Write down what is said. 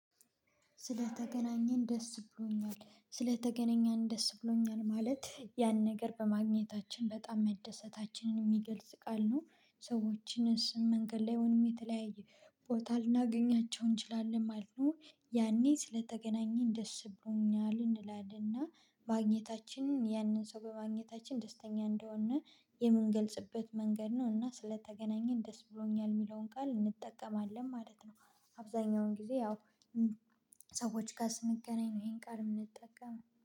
ስለተገናኘን ደስ ብሎኛል ስለተገናኘን ደስ ብሎኛል ማለት ያን ነገር በማግኘታችን በጣም መደሰታችንን የሚገልጽ ቃል ነው። ሰዎችን መንገድ ላይሆንም የተለያየ ቦታ ልናገኛቸው እንችላለን ማለት ነው። ያኔ ስለተገናኘን ደስ ብሎኛል እንላለንና ማግኘታችን ያንን ሰው በማግኘታችን ደስተኛ እንደሆነ የምንገልጽበት መንገድ ነው እና ስለተገናኘን ደስ ብሎኛል የሚለውን ቃል እንጠቀማለን ማለት ነው። አብዛኛውን ጊዜ ያው ሰዎች ጋር ስንገናኝ ነው። ይሄን ጋር የምንጠቀመው